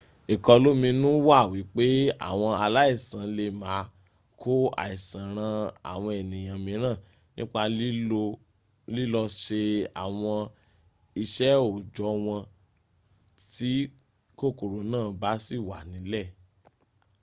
ìkọlóminú wà wípé àwọn aláìsàn lè máa kó àìsàn ran àwọn ènìyàn míràn nípa lilọ́ se àwọn iṣẹ́ òòjọ́ wọn tí kòkòrò náà bá sì wà nílẹ̀